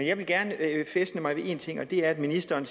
jeg vil gerne fæstne mig ved en ting og det er at ministeren